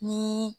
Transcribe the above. Ni